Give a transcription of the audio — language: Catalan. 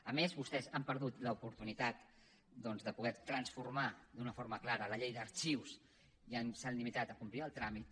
a més vostès han perdut l’oportunitat doncs de poder transformar d’una forma clara la llei d’arxius i s’han limitat a complir el tràmit